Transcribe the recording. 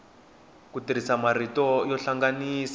ku tirhisa marito yo hlanganisa